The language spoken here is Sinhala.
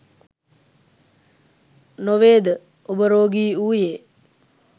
නොවේද ඔබ රෝගී වුයේ?